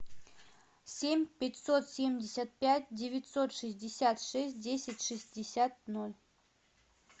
семь пятьсот семьдесят пять девятьсот шестьдесят шесть десять шестьдесят ноль